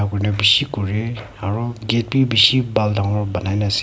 bishi kore aro gate bi bishi bhal dangor banai na ase.